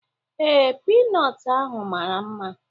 Ee, Pinọt ahụ mara mma